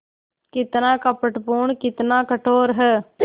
कितना कपटपूर्ण कितना कठोर है